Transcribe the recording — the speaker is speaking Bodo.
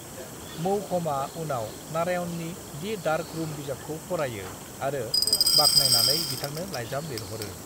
मौघमआ उनाव नारायणनि 'दि डार्क रूम' बिजाबखौ फरायो आरो बाख्नायनानै बिथांनो लाइजाम लिरहरो।